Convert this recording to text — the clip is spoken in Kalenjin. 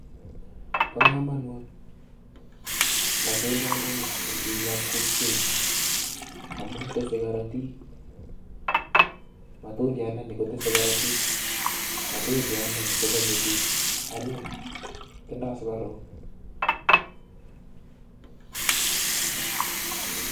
Bokomonut matundiandani en biikab kokwenyun amun tesee korotik, matundiandani kotese korotik, matundiandani kochome biik anyiny, tindo sukaruk.